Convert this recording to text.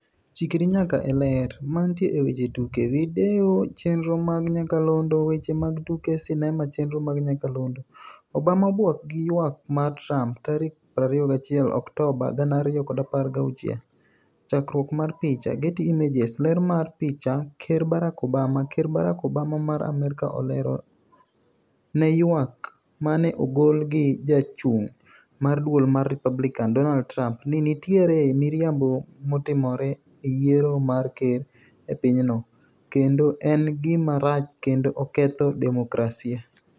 Chikri nyaka e Ler. Mantie e weche tuke. Video chenro mag nyakalondo. Weche mag tuke sinema chenro mag nyakalondo. Obama obwok gi ywak mar Trump, tarik 21 Oktoba 2016. Chakruok mar picha, Getty Images. Ler mar picha, Ker Barack Obama. Ker Barack Obama mar Amerka olero ne ywak mane ogol gi jachung' mar duol mar Republican, Donald Trump, ni nitiere miriambo matimore e yiero mar ker e pinyno, kendo en gima rach kendo oketho demokrasia.